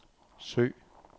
søg